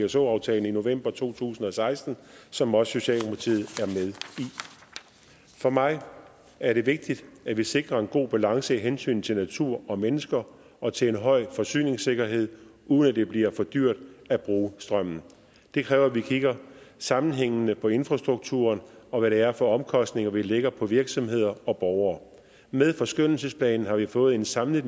pso aftalen i november to tusind og seksten som også socialdemokratiet i for mig er det vigtigt at vi sikrer en god balance i hensynet til natur og mennesker og til en høj forsyningssikkerhed uden at det bliver for dyrt at bruge strømmen det kræver at vi kigger sammenhængende på infrastrukturen og hvad det er for omkostninger vi lægger på virksomheder og borgere med forskønnelsesplanen har vi fået en samlet